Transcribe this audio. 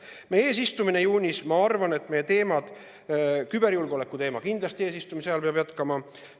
Meie eesistumise ajal juunis, ma arvan, peavad meie teemad, kindlasti küberjulgeoleku teema, jätkuma.